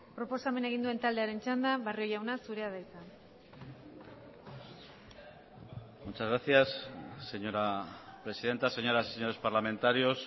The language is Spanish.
proposamena egin duen taldearen txanda barrio jauna zurea da hitza muchas gracias señora presidenta señoras y señores parlamentarios